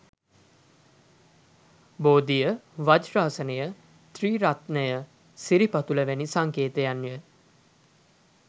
බෝධිය, වජ්‍රාසනය, ත්‍රිරත්නය, සිරිපතුල වැනි සංකේතයන් ය.